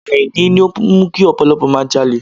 Àìní ló ń mú kí ọ̀pọ̀lọpọ̀ máa jalè.